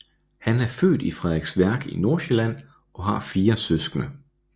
Han er født i Frederiksværk i Nordsjælland og har fire søskende